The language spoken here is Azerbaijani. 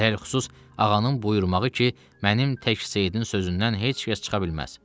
Ələlxüsus ağanın buyurmağı ki, mənim tək Seyidin sözündən heç kəs çıxa bilməz.